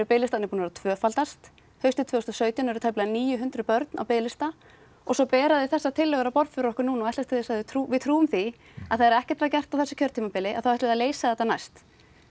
biðlistarnir tvöfaldast haustið tvö þúsund og sautján eru tæplega níu hundruð börn á biðlista og svo bera þau þessar tillögur á borð fyrir okkur núna og ætlast til þess að við trúum við trúum því að þegar ekkert var gert á þessu kjörtímabili þá ætli þau að leysa þetta næst